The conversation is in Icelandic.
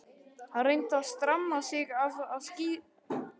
Hann reyndi að stramma sig af og skýra hugann.